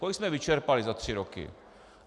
Kolik jsme vyčerpali za tři roky.